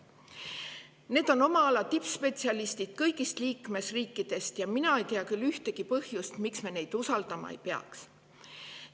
Need on oma ala tippspetsialistid kõigist liikmesriikidest ja mina ei tea küll ühtegi põhjust, miks me neid usaldama ei peaks.